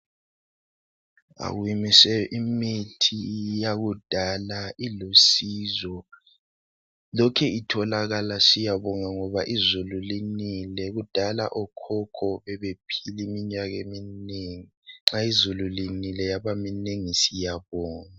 Imithi yakudala ilusizo. llokhe itholakala. Siyabonga ngoba izulu linile. Kudala okhokho babephila iminyaka eminengi. Nxa izulu linile, yabaminengi, siyabonga.